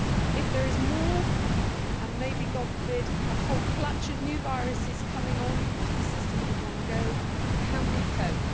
If there is more and maybe God forbid a whole clutch of new viruses coming onto the system in one go, can we cope?